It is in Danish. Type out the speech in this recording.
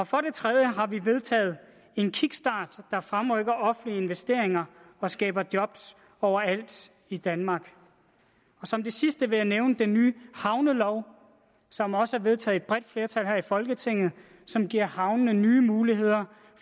for det tredje har vi vedtaget en kickstart der fremrykker offentlige investeringer og skaber job overalt i danmark som det sidste vil jeg nævne den nye havnelov som også er vedtaget bredt flertal her i folketinget og som giver havnene nye muligheder